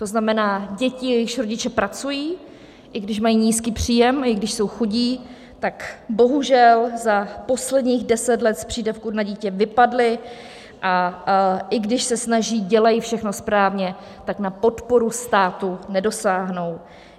To znamená, děti, jejichž rodiče pracují, i když mají nízký příjem, i když jsou chudí, tak bohužel za posledních deset let z přídavku na dítě vypadli, a i když se snaží, dělají všechno správně, tak na podporu státu nedosáhnou.